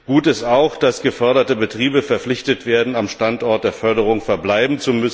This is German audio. Gut ist auch, dass geförderte Betriebe verpflichtet werden, am Standort der Förderung zu verbleiben.